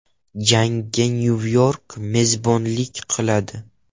Jangga Nyu-York mezbonlik qiladi.